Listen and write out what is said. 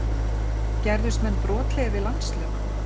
Gerðust menn brotlegir við landslög?